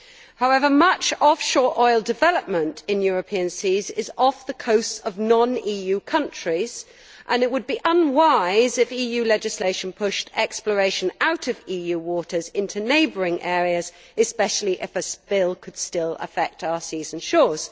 However, much offshore oil development in European seas is off the coast of non EU countries and it would be unwise if EU legislation pushed exploration out of EU waters into neighbouring areas especially if a spill could still affect our seas and shores.